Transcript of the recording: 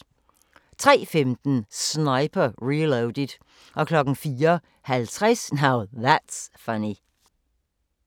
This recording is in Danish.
03:15: Sniper: Reloaded 04:50: Now That's Funny